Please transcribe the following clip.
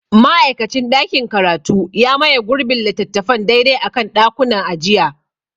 Ma'aikacin ɗakin karatu ya maye gurbin littattafan daidai a kan ɗakunan ajiya.